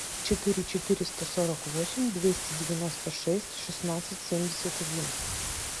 четыре четыреста сорок восемь двести девяносто шесть шестнадцать семьдесят один